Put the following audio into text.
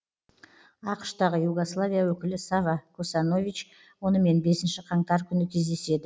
ақш тағы югославия өкілі сава косанович онымен бесінші қаңтар күні кездеседі